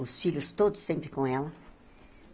os filhos todos sempre com ela.